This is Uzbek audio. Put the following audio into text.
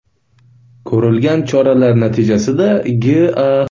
Ko‘rilgan choralar natijasida G.A.